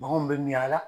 Baganw bɛ miy'ala